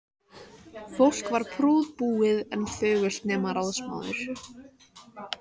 Fólk var prúðbúið en þögult, nema ráðsmaður.